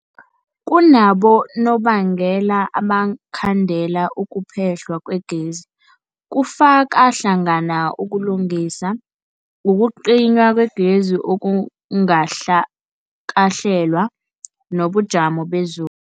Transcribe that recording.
Kunabonobangela abangakhandela ukuphehlwa kwegezi, kufaka hlangana ukulungisa, ukucinywa kwegezi okungakahlelwa, nobujamo bezu